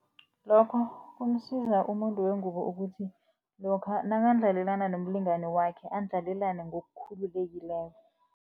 Lokho kumsiza umuntu wengubo ukuthi, lokha nakandlalelana nomlingani wakhe andlalelane ngokukhululekileko.